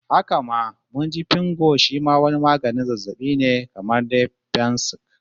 Haka ma mun ji Fingo shi ma wani maganin zazzabin ne kamar dai fensik